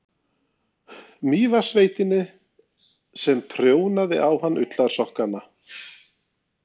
Mývatnssveitinni sem prjónaði á hann ullarsokkana.